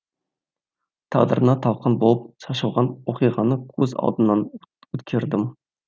тағдырына талқан болып шашылған оқиғаны көз алдымнан өткердім